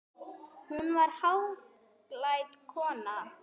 Hún var hæglát kona.